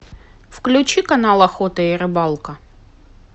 включи канал охота и рыбалка